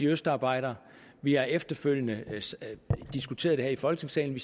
østarbejdere vi har efterfølgende diskuteret det her i folketingssalen